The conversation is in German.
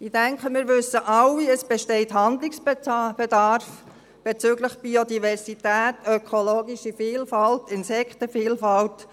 Ich denke, wir wissen alle, es besteht Handlungsbedarf bezüglich Biodiversität, ökologischer Vielfalt und Insektenvielfalt.